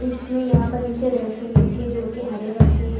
इसमें यहाँ पर नीचे रेक्सीन बिछी है जो की हरे रंग की है।